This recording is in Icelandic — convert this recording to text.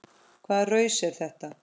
Hvaða raus er þetta?